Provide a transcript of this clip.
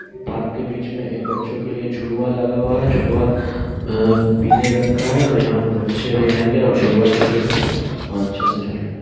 Park के बीच में एक बच्चो के लिए झुलउआ लगा हुआ है झुलउआ अ-पीले रंग का है और यहा पर बच्चे भी आयेंगे और झुलउआ झूलवा झूलेंगे और अच्छा से झूलेंगे ।